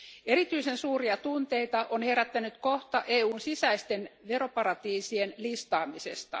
Erityisen suuria tunteita on herättänyt kohta EUn sisäisten veroparatiisien listaamisesta.